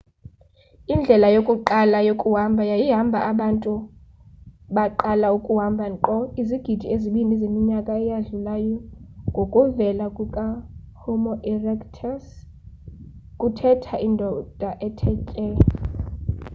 indlela yokuqala yokuhamba yayihamba abantu baqala ukuhamba nkqo izigidi ezibini zeminyaka eyadlulayo ngokuvela kukahomo erectus kuthetha indoda ethe tye